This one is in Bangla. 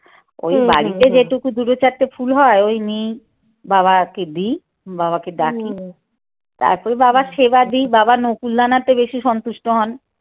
ওই বাড়িতে যেটুকু দুটো চারটে ফুল হয় ওই নিয়েই বাবাকে দি বাবাকে ডাকি তারপর বাবার সেবা দিই বাবা তে বেশি সন্তুষ্ট হন।